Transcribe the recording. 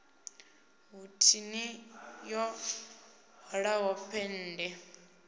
hu thini yo hwalaho pennde